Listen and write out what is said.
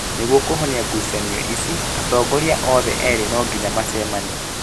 Nĩguo kũhonia ngucanio ici, atongoria othe erĩ no nginya macemanie